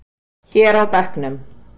Hér á bekknum.